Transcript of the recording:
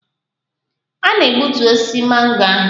A na-egbutu osisi mango ahụ.